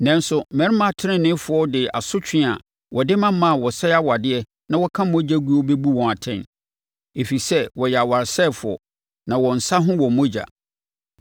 Nanso mmarima teneneefoɔ de asotwe a wɔde ma mmaa a wɔsɛe awadeɛ na wɔka mogya guo bɛbu wɔn atɛn, ɛfiri sɛ wɔyɛ awaresɛefoɔ, na wɔn nsa ho wɔ mogya.